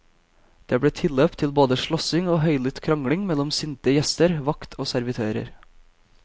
Det ble tilløp til både slåssing og høylytt krangling mellom sinte gjester, vakt og servitører.